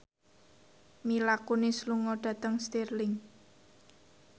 Mila Kunis lunga dhateng Stirling